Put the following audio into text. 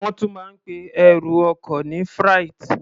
Wọ́n tún máa ń pe ẹrù ọkọ ní freight.